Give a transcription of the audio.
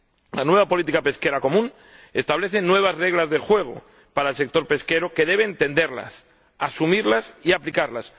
La nueva política pesquera común establece nuevas reglas del juego para el sector pesquero, que debe entenderlas, asumirlas y aplicarlas.